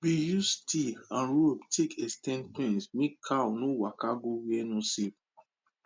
we use dry stick and rope take ex ten d fence make cow no waka go where no safe